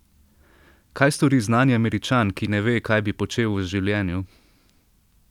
Kaj stori znani Američan, ki ne ve, kaj bi počel v življenju?